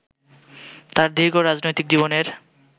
তাঁর দীর্ঘ রাজনৈতিক জীবনের